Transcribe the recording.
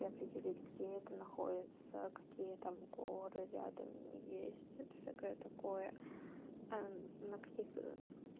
и определить где это находится какие там горы рядом есть вот всякое такое ээ на каких